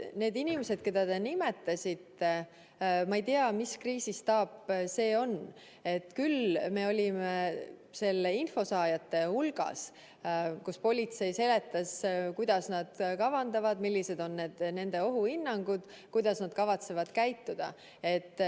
Need inimesed, keda te nimetasite – ma ei tea, mis kriisistaap see on, aga me olime selle info saajate hulgas, kui politsei seletas, mida nad kavandavad, millised on nende ohuhinnangud, kuidas nad kavatsevad käituda.